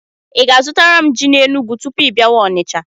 Ị ga-azụtara m ji na Enụgwụ tupu ị bịawa Onicha?